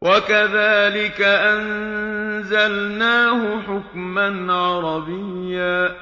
وَكَذَٰلِكَ أَنزَلْنَاهُ حُكْمًا عَرَبِيًّا ۚ